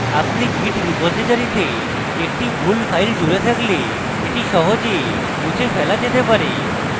আপনি git repository তে একটি ভুল file জুড়ে থাকলে এটি সহজে মুছে ফেলা যেতে পারে